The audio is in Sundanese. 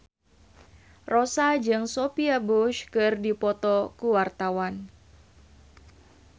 Rossa jeung Sophia Bush keur dipoto ku wartawan